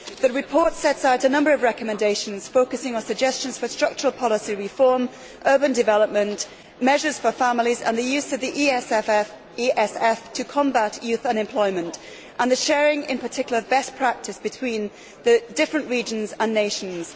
The report sets out a number of recommendations, focusing on suggestions for structural policy reform, urban development, measures for families, the use of the ESF to combat youth unemployment and, in particular, the sharing of best practice between the different regions and nations.